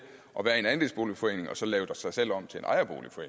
at være en andelsboligforening og så lave sig selv om til